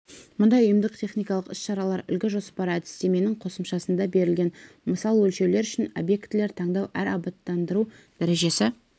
мұндай ұйымдық-техникалық іс-шаралар үлгі жоспары әдістеменің қосымшасында берілген мысал өлшеулер үшін объектілер таңдау әр абаттандыру дәрежесі